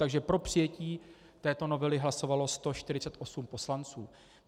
Takže pro přijetí této novely hlasovalo 148 poslanců.